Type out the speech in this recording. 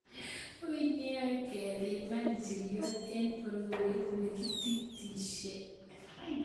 "Ui nea kepiman njiriot eng porowet ne kititisye.